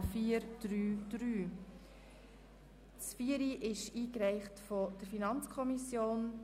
Sie haben dem Änderungsantrag 6 zugestimmt mit 86 Ja- gegen 56 Nein-Stimmen bei 6 Enthaltungen.